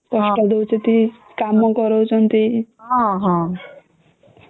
କଷ୍ଟ ଦଉଛନ୍ତି କାମ କରାଉ ଛନ୍ତି ହୁଁ